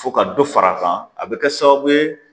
Fo ka dɔ far'a kan a bɛ kɛ sababu ye